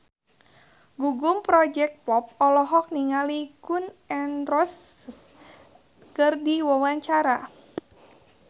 Gugum Project Pop olohok ningali Gun N Roses keur diwawancara